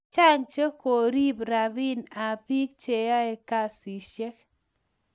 chang che korib rabin ab bik che ae kasishek